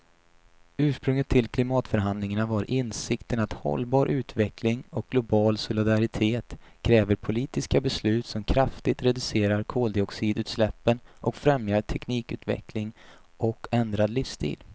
Ursprunget till klimatförhandlingarna var insikten att hållbar utveckling och global solidaritet kräver politiska beslut som kraftigt reducerar koldioxidutsläppen och främjar teknikutveckling och ändrad livsstil.